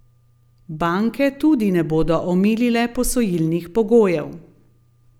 Banke tudi ne bodo omilile posojilnih pogojev.